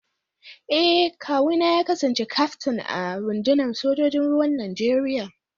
Eh, kawuna ya kasance kyaftin a rundunar sojojin ruwan Najeriya